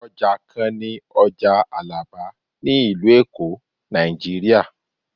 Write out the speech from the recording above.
oja kan ni oja alaba ni ilu elo, Naijiriya